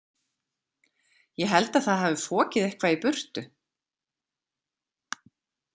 Ég held að það hafi fokið eitthvað í burtu.